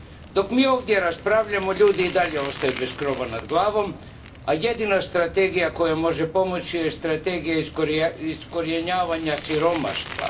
Dok mi ovdje raspravljamo, ljudi i dalje ostaju bez krova nad glavom, a jedina strategija koja može pomoći je strategija iskorijenjivanja siromaštva.